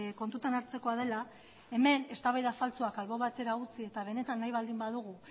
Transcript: kontutan hartzekoa dela hemen eztabaida faltsuak albo batera utzi eta benetan nahi baldin badugu